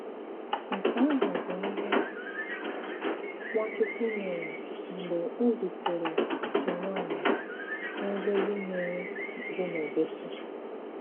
Nke àhụ̀ bụ ìhé Nwàchùkwù mèré mg̀bè ọ̀ zùtèrè otu nwànyị̀ n'òlòlù mmìrì dị n'Òbòsi.